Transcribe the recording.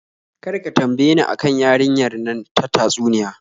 Kar ka tambaye ni a kan yarinyar nan ta tatsuniya.